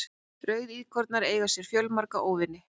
rauðíkornar eiga sér fjölmarga óvini